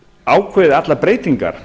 ákvarðað allar breytingar